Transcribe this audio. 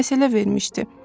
Məsələ vermişdi.